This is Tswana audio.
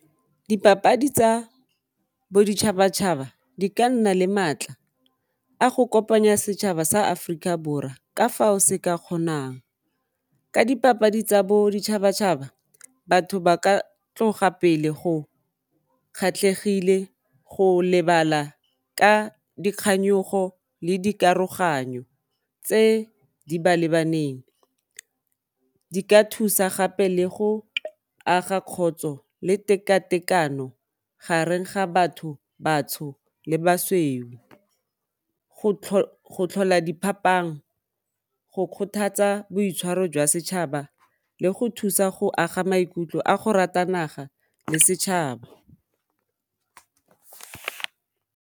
Dipapadi tsa boditšhabatšhaba di ka nna le maatla a go kopanya setšhaba sa Aforika Borwa ka fao se ka kgonang ka dipapadi tsa boditšhabatšhaba batho ba ka tloga pele go kgatlhegile, go lebala ka dikganyogo le dikaroganyo tse di ba lebaneng, di ka thusa gape le go aga kgotso le tekatekano gareng ga batho batsho le basweu, go tlhola diphapang go kgothatsa boitshwaro jwa setšhaba le go thusa go aga maikutlo a go rata naga le setšhaba.